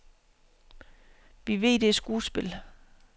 Vi ved, det er skuespil.